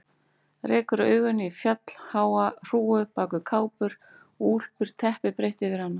Rekur augun í fjallháa hrúgu bak við kápur og úlpur, teppi breitt yfir hana.